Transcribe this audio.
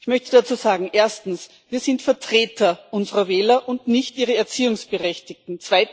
Ich möchte dazu sagen Erstens Wir sind Vertreter unserer Wähler, und nicht ihre Erziehungsberechtigten.